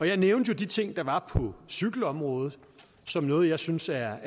jeg nævnte jo de ting der var på cykelområdet som noget jeg synes er